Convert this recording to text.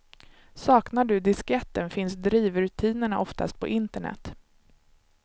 Saknar du disketten finns drivrutinerna oftast på internet.